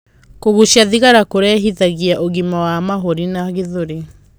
Kugucia thigara kurehithagia ũgima wa mahũri na gĩthũri